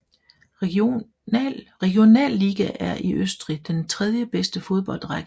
Regionalliga er i Østrig den tredjebedste fodboldrække